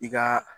I ka